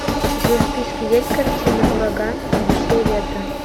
у тебя в списке есть картина ураган одиссея ветра